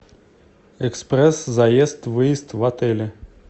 экспресс заезд выезд в отеле